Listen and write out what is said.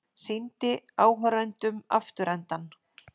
Sýndi áhorfendum afturendann